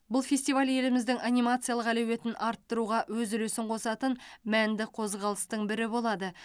бұл фестиваль еліміздің анимациялық әлеуетін арттыруға өз үлесін қосатын мәнді қозғалыстың бірі болады